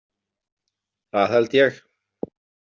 Það held ég.